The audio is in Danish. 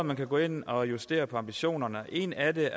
man kan gå ind og justere på ambitionerne og en af